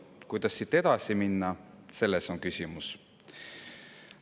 Kuidas siit edasi minna, selles on küsimus.